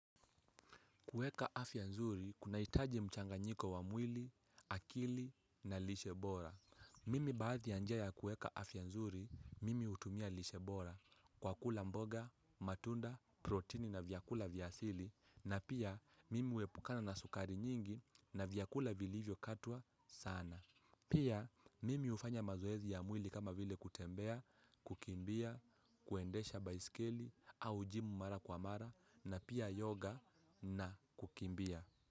Kuweka afya nzuri, kuna hitaji mchanganyiko wa mwili, akili na lishe bora. Mimi baadhi ya njia ya kuweka afya nzuri, mimi hutumia lishe bora kwa kula mboga, matunda, protini na vyakula vya asili na pia mimi huepukana na sukari nyingi na vyakula vilivyo katwa sana. Pia mimi hufanya mazoezi ya mwili kama vile kutembea, kukimbia, kuendesha baiskeli au jimu mara kwa mara na pia yoga na kukimbia.